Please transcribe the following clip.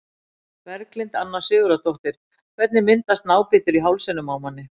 Berglind Anna Sigurðardóttir Hvernig myndast nábítur í hálsinum á manni?